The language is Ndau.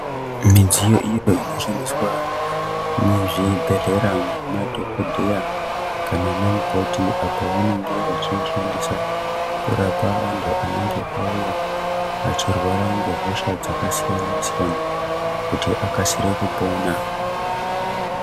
Midziyo iyo inoshandiswa muzvibhehlera nemadhokodheya kana anamukoti apo pavanenge vachiishandisa kurapa antu anenge auya achirwara ngehosha dzakasiyana siyana kuti akasire kupona.